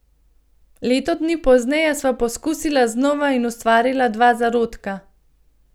Leto dni pozneje sva poskusila znova in ustvarila dva zarodka.